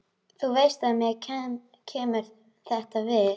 Þú veist að mér kemur þetta við.